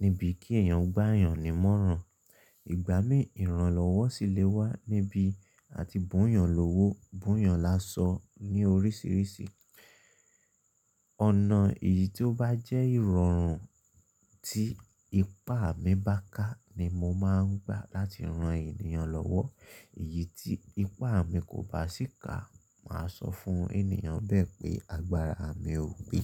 níbí kí èèyàn gbá èèyàn ní mọ́ran. Ìgbà mí ìran lọ́wọ́ sì lè wá níbí a ti bùyàn lọ́wọ́, bùyàn lásọ ní oríṣiríṣi. Ọ̀nà èyí tó bá jẹ́ ìrọ̀rùn tí ipá mi bá ká ni mo máa ń gbà láti rán ènìyàn lọ́wọ́. Èyí tí ipá mi kò bá sì ká, màá sọ fún ènìyàn bẹ́ẹ̀ pé agbára mi ò gbé.